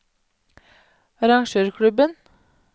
arrangørklubben